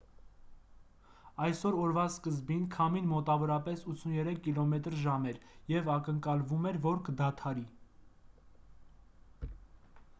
այսօր օրվա սկզբին քամին մոտավորապես 83 կմ/ժ էր և ակնկալվում էր որ կդանդաղի: